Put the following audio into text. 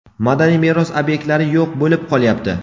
madaniy meros ob’ektlari yo‘q bo‘lib qolyapti.